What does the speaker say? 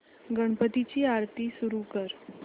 गणपती ची आरती सुरू कर